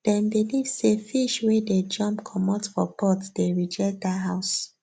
dem believe say fish wey dey jump comot for pot dey reject dat house